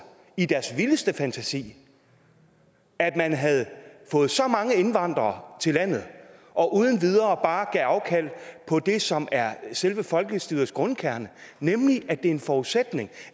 i deres vildeste fantasi at man havde fået så mange indvandrere til landet og uden videre bare gav afkald på det som er selve folkestyrets grundkerne nemlig at det er en forudsætning